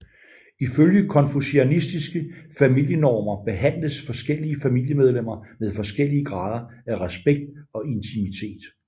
Ifølge konfucianistiske familienormer behandledes forskellige familiemedlemmer med forskellige grader af respekt og intimitet